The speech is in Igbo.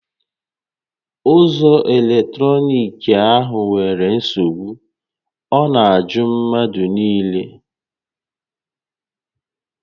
Ụzọ eletrọnịkị a nwèrè nsogbu, ọ na ajụ mmadụ niile